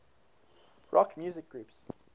rock music groups